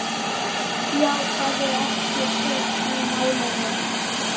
játaði ekki sök í málinu.